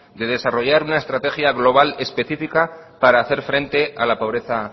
de desarrollar una estrategia global específica para hacer frente a la pobreza